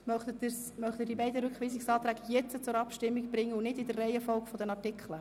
Möchten Sie die beiden Rückweisungsanträge jetzt zur Abstimmung bringen und nicht in der Reihenfolge der Artikel?